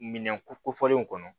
Minɛn ko kofɔlenw kɔnɔ